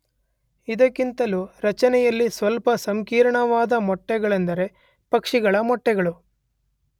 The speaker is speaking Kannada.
ಇದಕ್ಕಿಂತಲೂ ರಚನೆಯಲ್ಲಿ ಸ್ವಲ್ಪ ಸಂಕೀರ್ಣವಾದ ಮೊಟ್ಟೆಗಳೆಂದರೆ ಪಕ್ಷಿಗಳ ಮೊಟ್ಟೆಗಳು.